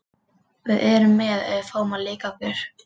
Við erum með ef við fáum að leika okkur.